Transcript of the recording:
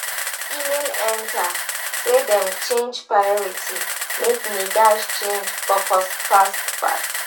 email enter say dem change priority make me dash change focus fast fast